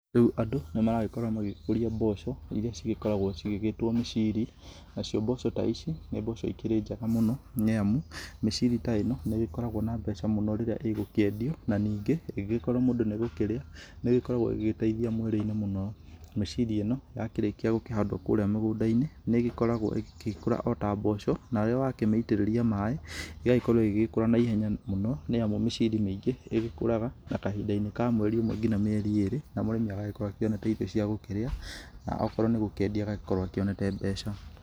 Rĩu andũ nĩ maragĩkorwo magĩkũria mboco irĩa cigĩkoragwo cigĩgĩtwo mĩciri nacio mboco ta ici nĩ mboco ikĩrĩ njega mũno nĩamu mĩciri ta ĩno nĩ ĩgĩkoragwo na mbeca mũno rĩrĩa ĩgũkĩendio na ningĩ ĩngĩkorwo mũndũ nĩ gũkĩria nĩ ĩgũgĩkorwo igĩteithia mwiri-inĩ mũno, mĩciri ĩno yakĩrĩkĩa gũkĩhandwo kũrĩa mũgũnda-inĩ nĩ ĩgĩkoragwo igĩkũra ta mboco na rĩrĩa wakĩmĩitĩrĩria maĩ ĩgagĩkorwo ĩgĩgĩkũra na ihenya mũno nĩ amũ mĩciri mĩingĩ nĩ igĩkũraga na kahinda ka mweri ũmwe nginya mĩeri ĩrĩ na mũrĩmi agagĩkorwo akĩonete irio cia gũkĩrĩa okorwo nĩ gũkiendia agagĩkorwo akĩonete mbeca.